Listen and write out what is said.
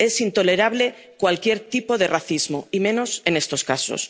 asiática. Es intolerable cualquier tipo de racismo y menos en estos